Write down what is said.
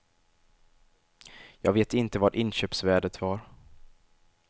Jag vet inte vad inköpsvärdet var.